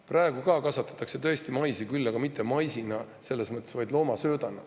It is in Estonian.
Praegu kasvatatakse ka maisi, aga mitte, vaid loomasöödaks.